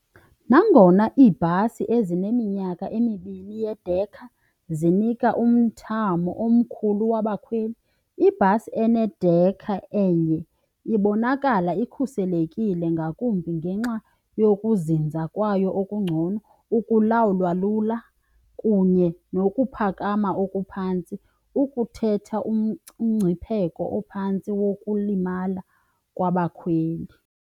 Nangona ibhasi ezine iminyaka emibini yedekha zinika umthamo omkhulu wabakhweli ibhasi enedekha enye ibonakala ikhuselekile ngakumbi ngenxa nokuzinza kwayo okungcono, ukulawulwa lula kunye nokuphakama okuphantsi, ukuthetha umngcipheko ophantsi wokulimala kwabakhweli.